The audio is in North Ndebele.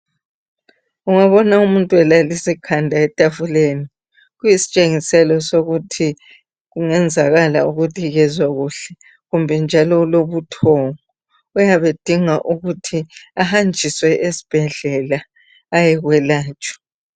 Ongabona umuntu alalise ikanda ethafuleni, kuyisitshengiselo sokuthi kungayenzakala ukuthi kezwa kuhle, kumbe njalo ulobuthongo. Uuyabe edingeka ukuthi ahajiswe esibhedlela ayekwelatshwa.